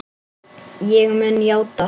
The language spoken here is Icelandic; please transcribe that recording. Ég mun játa allt.